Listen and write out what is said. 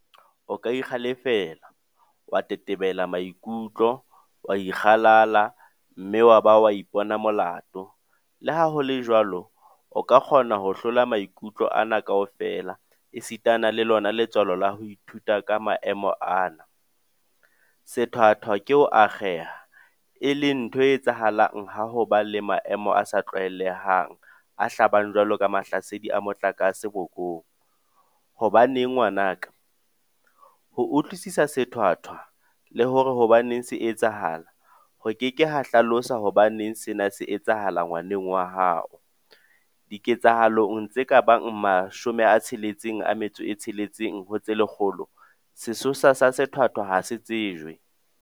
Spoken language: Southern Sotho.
O ka ikgale-fela, wa tetebela maikutlo, wa ikgalala mme wa ba wa ipona molato, leha ho le jwalo, o ka kgona ho hlola maikutlo ana kaofela esitana le lona letswalo ka ho ithuta ka maemo ana. Sethwathwa ke ho akgeha, e leng ntho e etsahalang ha ho ba le maemo a sa tlwaelehang a hlabang jwalo ka mahlasedi a motlakase bokong. Hobaneng ngwana ka? Ho utlwisisa sethwathwa, le hore hobaneng se etsahala, ho ke ke ha hlalosa hobaneng sena se etsahala ngwaneng wa haoDiketsahalong tse ka bang tse 66 ho tse lekgolo, sesosa sa sethwathwa ha se tsejwe.